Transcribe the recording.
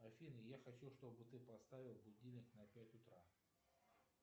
афина я хочу чтобы ты поставила будильник на пять утра